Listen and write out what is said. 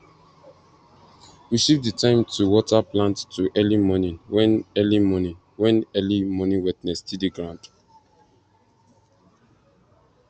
we shift the time to water plant to early morning when early morning when early morning wetness still dey ground